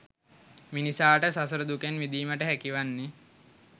මිනිසාට සසර දුකෙන් මිදීමට හැකිවන්නේ